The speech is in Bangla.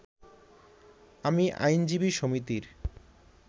আমি আইনজীবী সমিতির